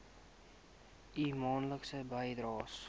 u maandelikse bydraes